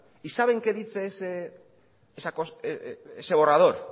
y saben qué dice ese borrador